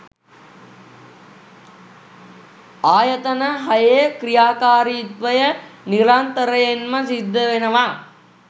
ආයතන හයේ ක්‍රියාකාරීත්වය නිරන්තරයෙන්ම සිද්ධවෙනවා.